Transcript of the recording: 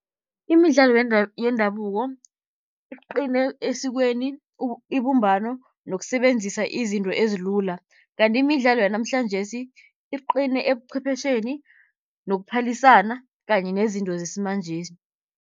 Imidlalo yendabuko iqine esikweni, ibumbano nokusebenzisa izinto ezilula. Kanti imidlalo yanamhlanjesi iqine ebuqhwephesheni nokuphalisana kanye nezinto zesimanjesi.